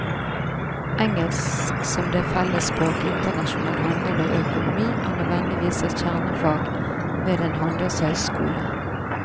Engelsk som det felles språk i internasjonal handel og økonomi er nødvendigvis et kjernefag ved en handelshøyskole.